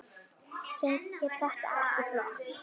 Finnst þér þetta ekki flott?